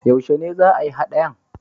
Yaushe ne za a yi haɗayan?